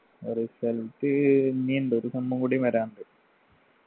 result ഇനിയുണ്ട് ഒരു sem ഉം കൂടി വരാനുണ്ട്